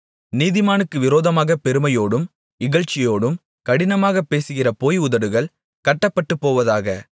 நீதிமானுக்கு விரோதமாகப் பெருமையோடும் இகழ்ச்சியோடும் கடினமாகப் பேசுகிற பொய் உதடுகள் கட்டப்பட்டுப்போவதாக